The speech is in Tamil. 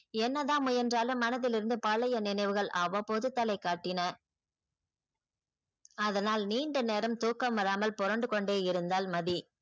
என்னதான் முயன்றாலும் மனதிலிருந்து பழைய நினைவுகள் அவ்வபோது தலை காட்டின அதனால் நீண்ட நேரம் தூக்கம் வராமல் புரண்டு கொண்டே இருந்தால் மதி.